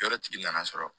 Yɔrɔtigi nana sɔrɔ